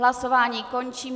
Hlasování končím.